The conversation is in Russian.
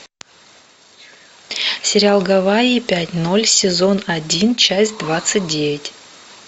сериал гавайи пять ноль сезон один часть двадцать девять